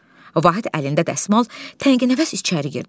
Vahid əlində dəsmal təngənəfəs içəri girdi.